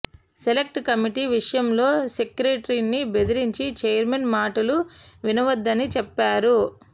select committee విషయంలో సెక్రటరీని బెదిరించి ఛైర్మన్ మాటలు వినవద్దని చెప్పారు